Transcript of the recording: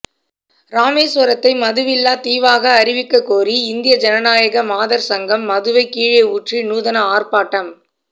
ராமேசுவரத்தை மதுவில்லா தீவாக அறிவிக்க கோரி இந்திய ஜனநாயக மாதா் சங்கம் மதுவை கீழே ஊற்றி நூதன ஆா்ப்பாட்டம்